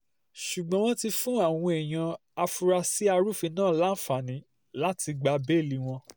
ṣùgbọ́n wọ́n ti fún àwọn èèyàn afurasí arúfin náà láǹfààní láti gba bẹ́ẹ́lí wọn